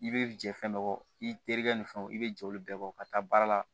I bɛ jɛ fɛn dɔ kɔ i terikɛ ni fɛnw i bɛ jɛ olu bɛɛ bɔ ka taa baara la